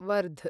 वर्ध